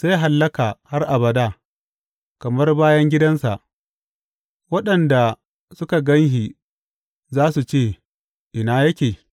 Zai hallaka har abada, kamar bayan gidansa; waɗanda suka gan shi za su ce, Ina yake?’